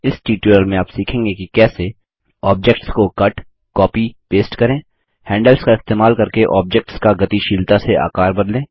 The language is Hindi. इस ट्यूटोरियल में आप सीखेंगे कि कैसे ऑब्जेक्ट्स को कट कॉपी पेस्ट करें हैंडल्स का इस्तेमाल करके ऑब्जेक्ट्स का गतिशीलता से आकार बदलें